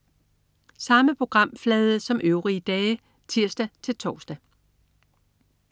Samme programflade som øvrige dage (tirs-tors)